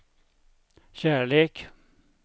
kärlek